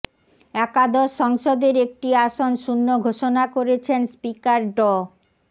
একাদশ সংসদের একটি আসন শূণ্য ঘোষণা করেছেন স্পিকার ড